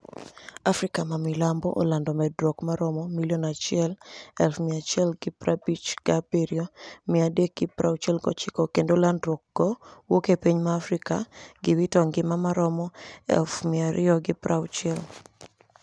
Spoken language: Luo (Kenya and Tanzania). Afrika mamilambo olanido medruok maromo 1157369 kenido lanidruok go wuok epiniy ma afrika gi wito nigima maromo 26,0000